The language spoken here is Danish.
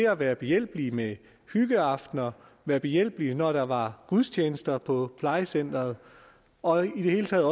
at være behjælpelige med hyggeaftener være behjælpelige når der var gudstjenester på plejecenteret og i det hele taget